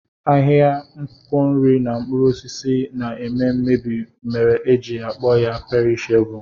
Ahịa akwụkwọ nri na mkpụrụ osisi na-eme mmebi mere e ji akpọ ya perishebụl